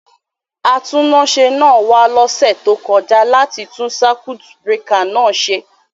Atúnáṣe náà wa lósẹ̀ to kojá láti tun circuit breaker náà se